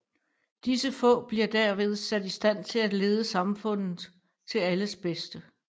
Disse få bliver derved sat i stand til at lede samfundet til alles bedste